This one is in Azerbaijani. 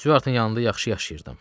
Stuartın yanında yaxşı yaşayırdım.